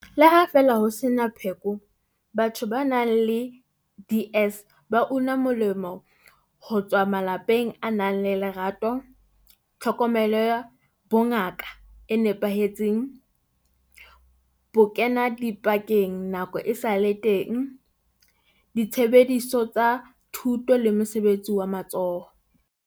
Le ha feela ho sena pheko, batho ba nang le DS ba una molemo ho tswa malapeng a nang le lerato, tlhokomelo ya bongaka e nepahetseng, bokenadipakeng nako esale teng, ditshebeletso tsa thuto le mosebetsi wa matsoho.